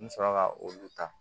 N bɛ sɔrɔ ka olu ta